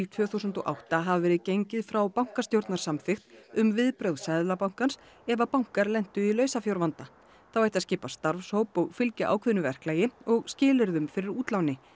tvö þúsund og átta hafi verið gengið frá bankastjórnarsamþykkt um viðbrögð Seðlabankans ef bankar lentu í lausafjárvanda þá ætti að skipa starfshóp og fylgja ákveðnu verklagi og skilyrðum fyrir útláni